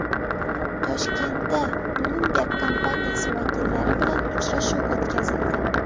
Toshkentda Bloomberg kompaniyasi vakillari bilan uchrashuv o‘tkazildi.